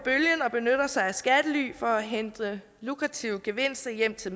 benytter sig af skattely for at hente lukrative gevinster hjem til